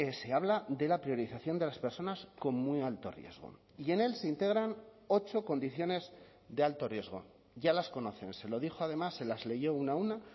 se habla de la priorización de las personas con muy alto riesgo y en él se integran ocho condiciones de alto riesgo ya las conocen se lo dijo además se las leyó una a una